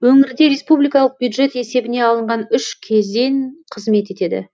өңірде республикалық бюджет есебіне алынған үш кезен қызмет етеді